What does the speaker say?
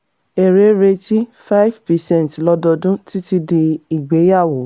èrè retí: 5 percent lododun títí di ìgbéyàwó.